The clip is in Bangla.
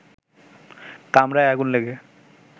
কামরায় আগুন লেগে